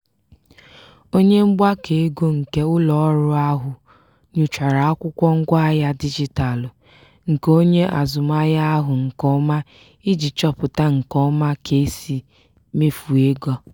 onye mgbakọego nke ụlọọrụ ahụ nyochara akwụkwọ ngwaahịa dijitalụ nke onye azụmahịa ahụ nke ọma iji chọpụta nke ọma ka e si mefuo ego.